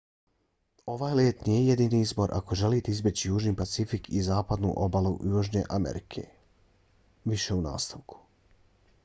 ovaj let nije jedini izbor ako želite izbjeći južni pacifik i zapadnu obalu južne amerike v. u nastavku